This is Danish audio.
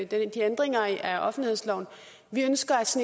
ændringen af offentlighedsloven ønsker os